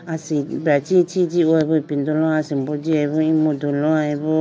asibra ichi ichi jihoyibo ipindolo asimbo jiya bo emudu loyibo.